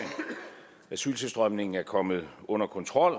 asyltilstrømningen er kommet under kontrol